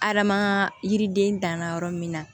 Adama ka yiriden danna yɔrɔ min na